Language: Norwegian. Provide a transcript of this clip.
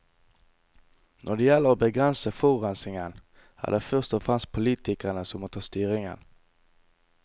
Når det gjelder å begrense forurensningen, er det først og fremst politikerne som må ta styringen.